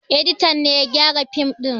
Editan ne ya gyara fim ɗin ba